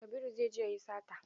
Kabiru zai je ya yi sata.